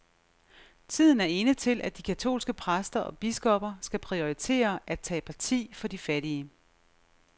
Tiden er inde til, at de katolske præster og biskopper skal prioritere at tage parti for de fattige.